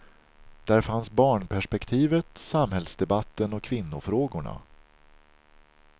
Där fanns barnperspektivet, samhällsdebatten och kvinnofrågorna.